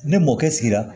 Ni mɔkɛ sigira